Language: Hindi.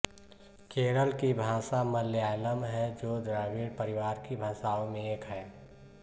केरल की भाषा मलयालम है जो द्रविड़ परिवार की भाषाओं में एक है